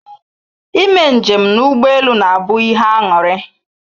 I me njem na ụgbọ elu na abụ ihe aṅụrị